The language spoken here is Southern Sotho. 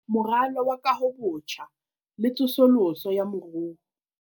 Moralo wa Kahobotjha le Tsosoloso ya Moruo